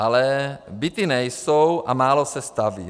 Ale byty nejsou a málo se staví.